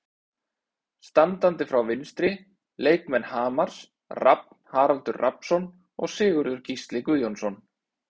Standandi frá vinstri: Leikmenn Hamars, Rafn Haraldur Rafnsson og Sigurður Gísli Guðjónsson.